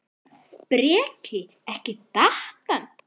Breki: Datt hann?